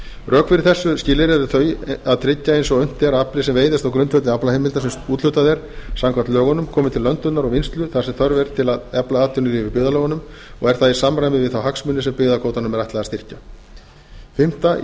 rök fyrir þessu skilyrði eru þau að tryggja eins og unnt er að afli sem veiðist á grundvelli aflaheimilda sem úthlutað er samkvæmt lögunum komi til löndunar og vinnslu þar sem þörf er til að efla atvinnulíf í byggðarlögunum og er það í samræmi við þá hagsmuni sem byggðakvótanum er ætlað að styrkja